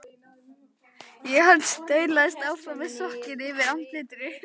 Og hann staulaðist áfram með sokkinn fyrir andlitinu.